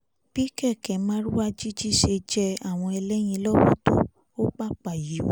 bí kéékè márúwá jíjí ṣe jẹ àwọn ẹlẹ́yìn lọ́wọ́ tó o pàpà yíwọ́